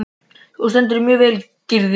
Þú stendur þig vel, Gyrðir!